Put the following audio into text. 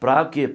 Para o quê?